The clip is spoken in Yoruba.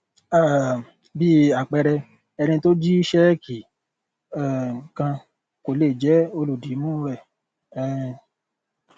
um bí àpẹẹrẹ ẹni tó jí ṣéèkì um kan kò lè jé olùdìmúu rẹ um